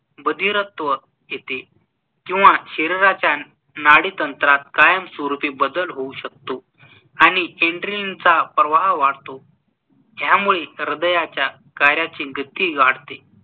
बधिरत्‍व येते किंवा शरीराच्‍या नाडीतंत्रात कायमस्वरूपी बदल होऊ शकतो आणि ऍन्‍ड्रॅलिनचा प्रवाह वाढतो. ह्यामुळे ह्रदयाच्‍या कार्याची गति वाढते.